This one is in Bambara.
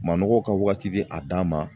Manɔgɔ ka wagati be a dan ma